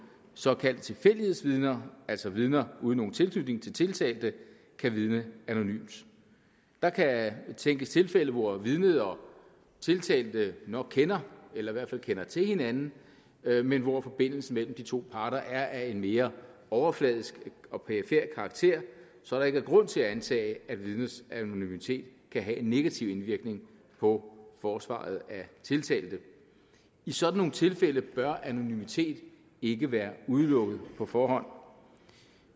såkaldte tilfældighedsvidner altså vidner uden nogen tilknytning til tiltalte kan vidne anonymt der kan tænkes tilfælde hvor vidnet og tiltalte nok kender eller i hvert fald kender til hinanden men hvor forbindelsen mellem de to parter er af en mere overfladisk og perifer karakter så der ikke er grund til at antage at vidnets anonymitet kan have en negativ indvirkning på forsvaret af tiltalte i sådan nogle tilfælde bør anonymitet ikke være udelukket på forhånd